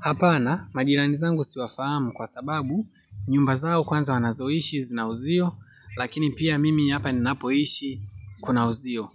Hapana, majirani zangu siwafahamu kwa sababu, nyumba zao kwanza wanazoishi zinauziwa, lakini pia mimi hapa ninapoishi kuna uzio.